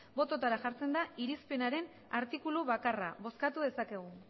botoetara jartzen da irizpenaren artikulu bakarra bozkatu dezakegu